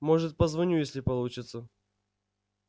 может позвоню если получится